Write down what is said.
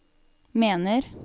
mener